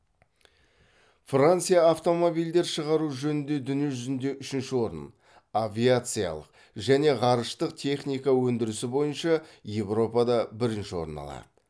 франция автомобильдер шығару жөнінде дүние жүзінде үшінші орын авиациялық және ғарыштық техника өндірісі бойынша еуропада бірінші орын алады